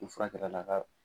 Ni fura kɛr'a la k'a